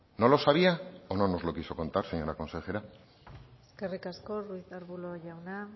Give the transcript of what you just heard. no lo sabía o no nos lo quiso contar señora consejera eskerrik asko ruiz de arbulo jauna